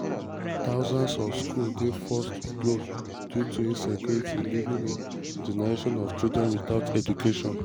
thousands of schools dey forced to close due to insecurity leaving a generation of children witout education.